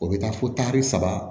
O bɛ taa fo tari saba